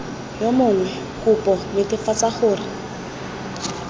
yo mongwe kopo netefatsa gore